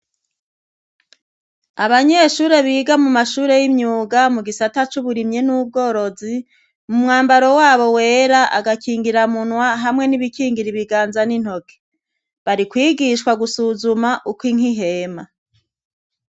Abanyeshuri biga mu mashure yimyuga mu gisata c'uburimyi n'ubworozi mu mwambaro wabo wera agakingira munwa hamwe n'ibikingira ibiganza n'intoke bari kwigishwa gusuzuma uko inka ihema.